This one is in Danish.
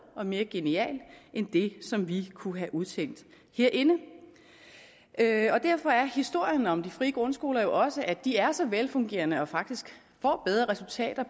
og mere genial end det som vi kunne have udtænkt herinde derfor er historien om de frie grundskoler jo også at de er så velfungerende og faktisk får bedre resultater